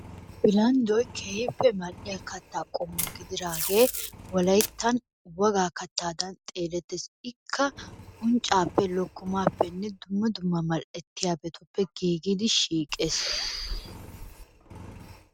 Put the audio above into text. Bilanddoy keehippe mal'iya kataa qommo gididaagee wolayttan wogaa kataadan xeelettees, ikka unccaappe lokkomaappe dumma dumma mal'etiyabatuppe giigidi shiiqees.